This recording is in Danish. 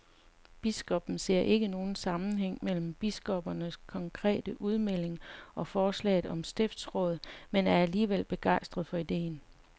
Biskoppen ser ikke nogen sammenhæng mellem biskoppernes konkrete udmelding og forslaget om stiftsråd, men er alligevel begejstret for ideen.